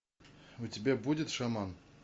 у тебя будет шаман